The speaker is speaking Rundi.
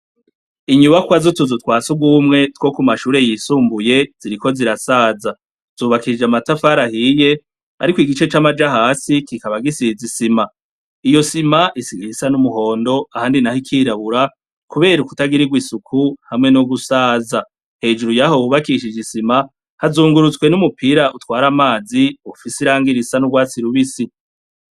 Inyubakwa zutuzu twa si ugumwe two ku mashure yisumbuye ziriko zirasaza zubakishije amatafarahiye, ariko igice c'amaja hasi kikaba gisizi isima iyo sima isigaihisa n'umuhondo ahandi, naho ikirabura, kubera ukutagirirwo isuku hamwe no gusaza hejuru yaho wubakishije isima hz ungurutswe n'umupira utwara amazi ufise iranga ira isa n'urwatsi rubisi.